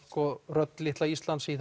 og rödd litla Íslands í